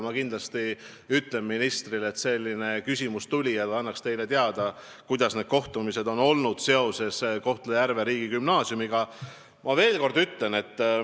Ma kindlasti ütlen ministrile, et selline küsimus tuli, ja palun, et ta annaks teile teada, kuidas need kohtumised seoses Kohtla-Järve riigigümnaasiumiga on läinud.